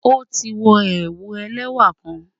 O ti wọ̀ ẹwù ẹlẹwa kàn